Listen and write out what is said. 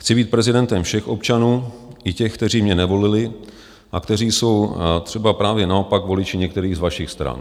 Chci být prezidentem všech občanů, i těch, kteří mě nevolili a kteří jsou třeba právě naopak voliči některých z vašich stran.